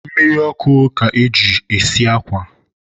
mmiri ọkụ ka e ji esi akwa.